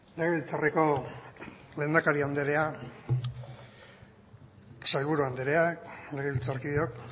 legebiltzarreko lehendakari andrea sailburu andrea legebiltzarkideok